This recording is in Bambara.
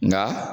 Nka